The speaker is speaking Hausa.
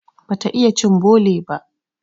Bata iya cin bole ba.